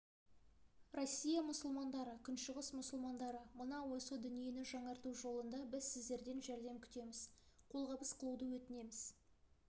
россия мұсылмандары күншығыс мұсылмандары мына осы дүниені жаңарту жолында біз сіздерден жәрдем күтеміз қолғабыс қылуды өтінеміз